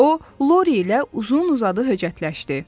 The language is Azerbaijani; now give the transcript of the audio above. O, Lori ilə uzun-uzadı höcətləşdi.